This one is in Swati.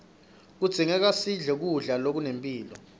kudzingeka sidle kudla lokunempilo